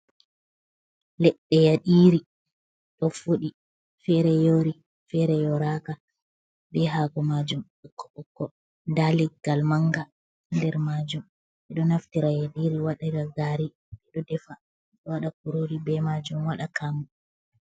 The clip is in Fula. Leɗɗe yaɗiiri, ɗo fuɗi feere yoori, feere yooraaka, bee haako maajum ɓokko-ɓokko nda leggal manga nder maajum. Ɓe ɗo naftira yaɗiiri waɗira gaari. Ɓe ɗo defa bo wqɗa kuroori bee maajum waɗa kaamu.